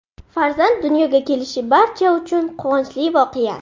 Farzand dunyoga kelishi barcha uchun quvonchli voqea.